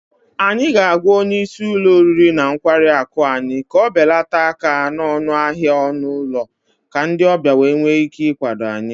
Anyị ga-agwa onye isi ụlọ oriri na nkwari akụ anyị ka ọ belata aka n'ọnụ ahịa ọnụ ụlọ ka ndị ọbịa wee nwee ike ịkwado anyị